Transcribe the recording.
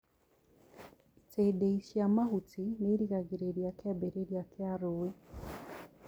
itindiĩ cia mahuti nĩirigagĩrĩria kĩambĩrĩria kĩa rũĩ.